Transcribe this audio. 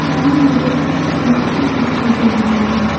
सामने मुझे एक छोटी सी बाल्टी भी दिखाई दे रही है।